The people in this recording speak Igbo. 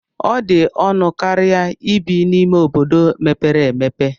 Ọ dị ọnụ karịa ibi n'ime ime obodo mepere emepe.